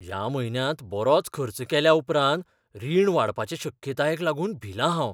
ह्या म्हयन्यांत बरोच खर्च केल्या उपरांत रिण वाडपाचे शक्यतायेक लागून भिलां हांव.